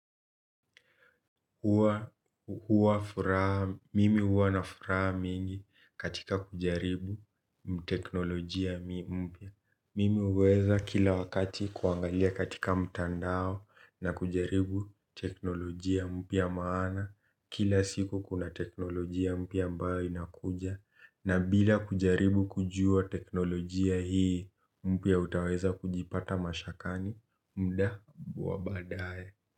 Huwa furaha, mimi huwa na furaha mingi katika kujaribu mteknolojia mpya. Mimi huweza kila wakati kuangalia katika mtandao na kujaribu teknolojia mpya maana. Kila siku kuna teknolojia mpya ambao inakuja. Na bila kujaribu kujua teknolojia hii, mpya utaweza kujipata mashakani muda wabaadaye.